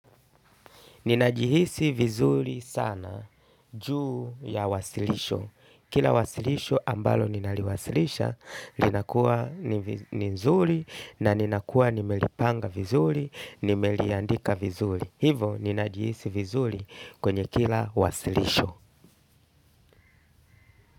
Ninajihisi vizuri sana juu ya uwasilisho. Kila wasilisho ambalo ninaliwasilisha, linakua ni nzuri na ninakua nimelipanga vizuri, nimeliandika vizuri. Hivo ninajihisi vizuri kwenye kila wasilisho.